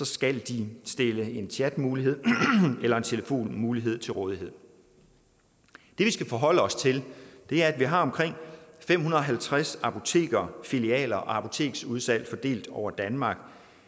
skal de stille en chatmulighed eller telefonmulighed til rådighed det vi skal forholde os til er at man har omkring fem hundrede og halvtreds apoteker filialer og apoteksudsalg fordelt over danmark